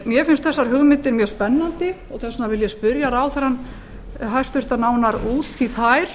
mér finnst þessar hugmyndir mjög spennandi og þess vegna vil ég spyrja ráðherrann hæstvirtur nánar út í þær